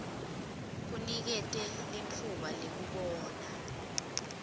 kunikete litfuba lekubona